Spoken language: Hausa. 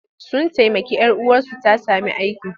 Sun taimaki 'yar uwarsu ta sami aiki.